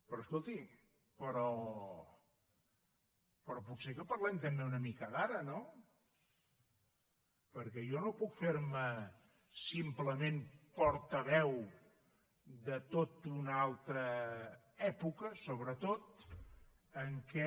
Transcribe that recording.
però escolti potser que parlem també una mica d’ara no perquè jo no puc fer me simplement portaveu de tota una altra època sobretot en què